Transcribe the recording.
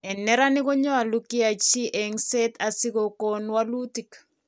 En neranik konyolu kyachi engset asikogon walutik